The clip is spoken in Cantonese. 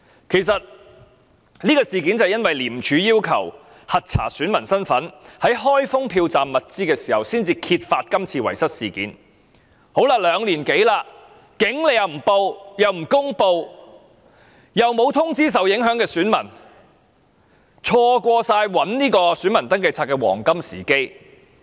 其實，這個事件是因為廉政公署要求核查選民身份，在開封票站物資時才揭發的，但經過兩年多時間後，處方不但不報案，而且不公布有關詳情，又沒有通知受影響的選民，錯過尋找選民登記冊的黃金時機。